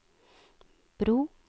bro